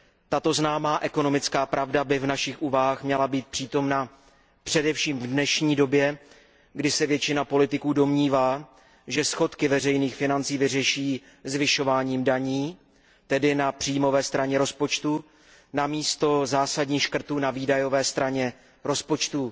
Tato známá ekonomická pravda by v našich úvahách měla být přítomna především v dnešní době, kdy se většina politiků domnívá, že schodky veřejných financí vyřeší zvyšováním daní, tedy na příjmové straně rozpočtu, namísto zásadních škrtů na výdajové straně rozpočtu.